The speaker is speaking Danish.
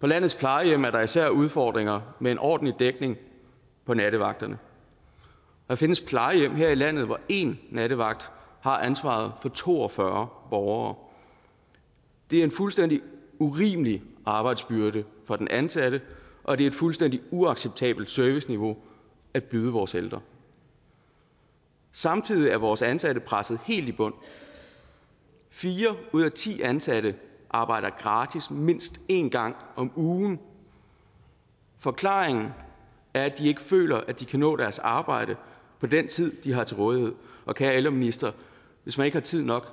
på landets plejehjem er der især udfordringer med en ordentlig dækning på nattevagterne der findes plejehjem her i landet hvor en nattevagt har ansvaret for to og fyrre borgere det er en fuldstændig urimelig arbejdsbyrde for den ansatte og det er et fuldstændig uacceptabelt serviceniveau at byde vores ældre samtidig er vores ansatte presset helt i bund fire ud af ti ansatte arbejder gratis mindst én gang om ugen forklaringen er at de ikke føler at de kan nå deres arbejde på den tid de har til rådighed og kære ældreminister hvis man ikke har tid nok